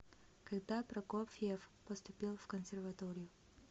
когда прокофьев поступил в консерваторию